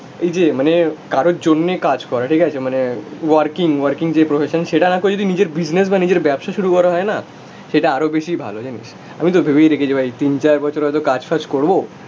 এই যে মানে কারোর জন্যে কাজ করা, ঠিক আছে, মানে ওয়ার্কিং ওয়ার্কিং যে প্রফেশন সেটা না করে যদি নিজের বিজনেস বা নিজের ব্যবসা শুরু করা হয় না সেটা আরো বেশি ভালো জানি, আমি তো ভেবেই রেখেছি ভাই তিন চার বছর হয়তো কাজ ফাজ করবো,